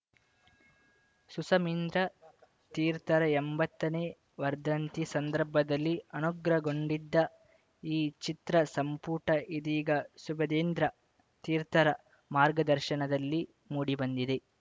ಸುಶಮೀಂದ್ರ ತೀರ್ಥರ ಎಂಬತ್ತನೇ ವರ್ಧಂತಿ ಸಂದರ್ಭದಲ್ಲಿ ಅನುಗ್ರಹಗೊಂಡಿದ್ದ ಈ ಚಿತ್ರಸಂಪುಟ ಇದೀಗ ಸುಬುಧೇಂದ್ರ ತೀರ್ಥರ ಮಾರ್ಗದರ್ಶನದಲ್ಲಿ ಮೂಡಿಬಂದಿದೆ